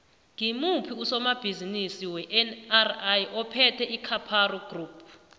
ngimuphi usomabhizimisi wenri ophethe icaparo group